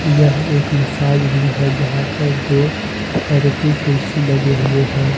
यह एक massage room है जहां पर दो थेरेपी कुर्सी लगे हुए हैं।